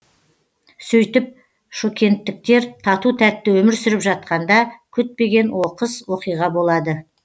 сөйтіп шокенттіктер тату тәтті өмір сүріп жатқанда күтпеген оқыс оқиға болады